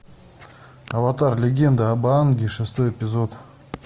аватар легенда об аанге шестой эпизод